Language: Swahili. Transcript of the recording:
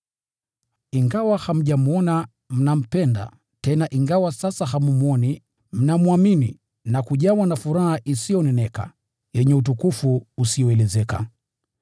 Ingawa hamjamwona, mnampenda; tena ingawa sasa hammwoni, mnamwamini na kujawa na furaha isiyoneneka yenye utukufu usioelezeka.